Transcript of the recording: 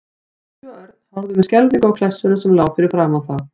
Tóti og Örn horfðu með skelfingu á klessuna sem lá fyrir framan þá.